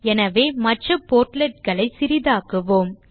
எனவே மற்ற portlet களை சிறிதாக்குவோம்